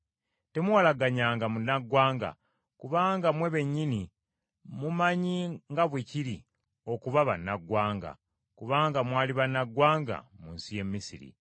“Temuwalagganyanga munnaggwanga, kubanga mmwe bennyini mumanyi nga bwe kiri okuba bannaggwanga, kubanga mwali bannaggwanga mu nsi y’e Misiri.